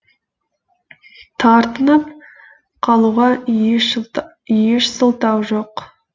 тартынып қалуға еш сылтау жоқ